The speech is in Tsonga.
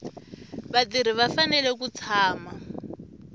vatirhi va fanele ku tshama